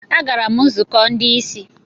Agara m nzukọ ndị ìsì.